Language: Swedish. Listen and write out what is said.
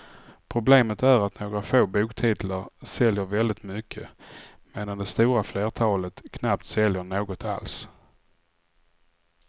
Problemet är att några få boktitlar säljer väldigt mycket medan det stora flertalet knappt säljer något alls.